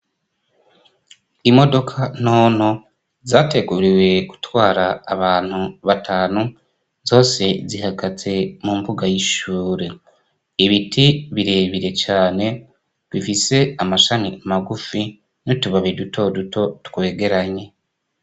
Imodoka ntonto zateguriwe gutwara abantu batanu zose zihagaze mumbuga y'ishure, ibiti birebire cane bifise amashami magufi n'utubabi dutoduto twegeranye.